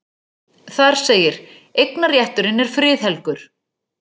Þar segir: Eignarrétturinn er friðhelgur.